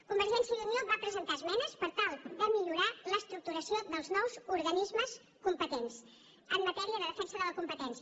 convergència i unió va presentar esmenes per tal de millorar l’estructuració dels nous organismes competents en matèria de defensa de la competència